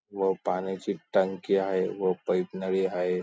व पाण्याची टंकी आहे व पईप नळी हाये.